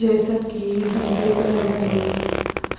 जईसन कि हम देख रहल बानी